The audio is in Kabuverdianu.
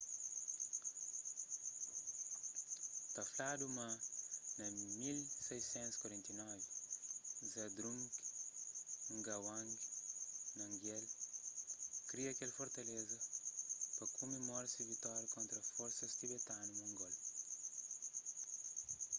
ta fladu ma na 1649 zhabdrung ngawang namgyel kria kel fortaleza pa kumemora se vitória kontra forsas tibetanu-mongol